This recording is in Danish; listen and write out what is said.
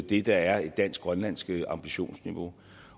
det der er et dansk grønlandsk ambitionsniveau